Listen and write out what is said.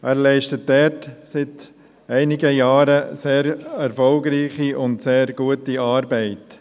Er leistet dort seit einigen Jahren sehr erfolgreiche und gute Arbeit.